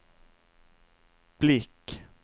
blick